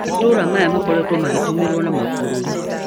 Matũra aya makoretwe magĩtumĩwa na mabũrũri